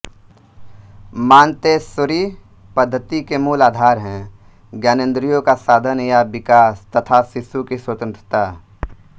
Montessori पद्धति के मूल आधार हैं ज्ञानेंद्रियों का साधन या विकास तथा शिशु की स्वतंत्रता